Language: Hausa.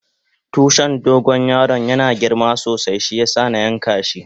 Tushin dogo yaron yana girma sosai shiyasa na yanka hi.